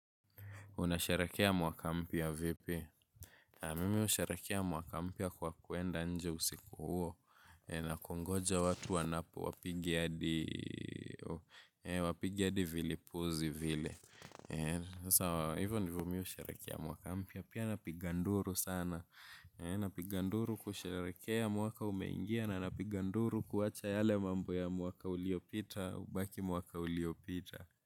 Unasheherekea mwaka mpya vipi? Mimi husharekea mwaka mpya kwa kwenda nje usiku huo. Na kungoja watu wanapo wapigia hadi vilipuzi vile. Ni sawa ivo ndo mi husheherekea mwaka mpya, pia napiga nduru sana. Napiga nduru kusheherekea mwaka umeingia na napiga nduru kuwacha yale mambo ya mwaka uliyopita, ubaki mwaka uliopita.